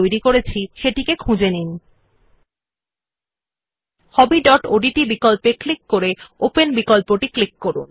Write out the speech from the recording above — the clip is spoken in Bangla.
নথি যা আমরা তৈরি করেছে একসেস উপর ক্লিক করুনLet us now click on the desktop option in the dialogue box to access the new document which we had created